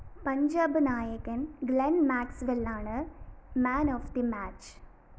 പഞ്ചാബ് നായകന്‍ ഗ്ലെന്‍ മാക്‌സ്‌വെല്ലാണ് man of the match